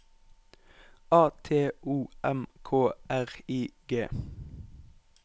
A T O M K R I G